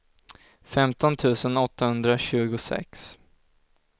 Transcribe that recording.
femton tusen åttahundratjugosex